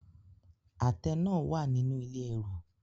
Àtẹ náà wà nínú ilé ẹrù.